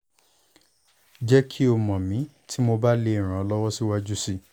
jẹ ki o mọ mi ti mo ba le ran o siwaju sii